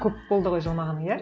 көп болды ғой жыламағаның иә